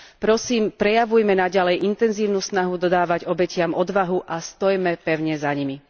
Prosím, prejavujme naďalej intenzívnu snahu dodávať obetiam odvahu a stojme pevne za nimi.